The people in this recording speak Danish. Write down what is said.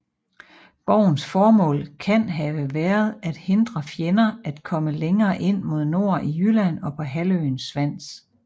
Borgens formål kan have været at hindre fjender at komme længere ind mod nord i Jylland og på halvøen Svans